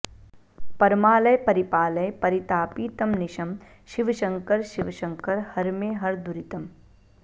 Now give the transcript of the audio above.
परमालय परिपालय परितापितमनिशं शिवशङ्कर शिवशङ्कर हर मे हर दुरितम्